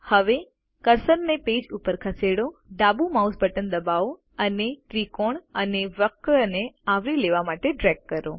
હવે કર્સરને પેજ પર ખસેડો ડાબુ માઉસ બટન દબાવો અને ત્રિકોણ અને વક્રને આવરી લેવા માટે ડ્રેગ કરો